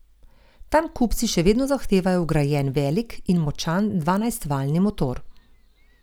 Tam kupci še vedno zahtevajo vgrajen velik in močan dvanajstvaljni motor.